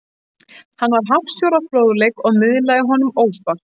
Hann var hafsjór af fróðleik og miðlaði honum óspart.